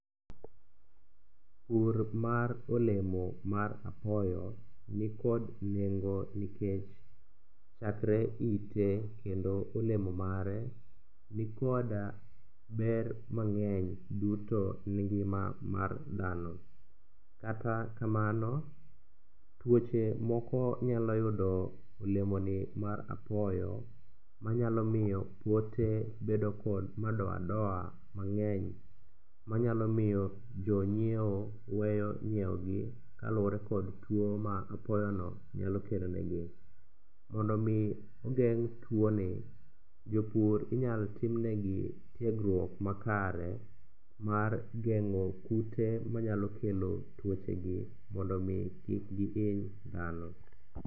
Pur mar olemo mar apoyo nikod nengo nikech chakre ite kendo olemo mare nikod ber mang'eny duto ni ngima mar dhano. Kata kamano, tuoche moko nyalo yudo olemoni mar apoyo manyalo miyo pote bedo kod madoadoa mang'eny manyalo miyo jonyieo weyo nyieogi kaluwore kod tuo ma apoyono nyalo kelonegi. Mondo omi ogeng' tuoni, jopur inyal timnegi tiegruok makare mar geng'o kute manyalo kelo tuochegi mondo omi kik gihiny dhano.